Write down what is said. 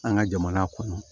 An ka jamana kɔnɔ